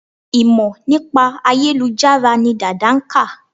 Ìmọ̀ nípa ayélujára ni Dàda nkà